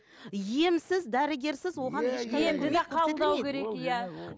емсіз дәрігерсіз оған қабылдау керек иә